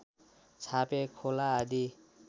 छापे खोला आदि